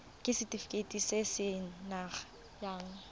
ke setefikeiti se se nayang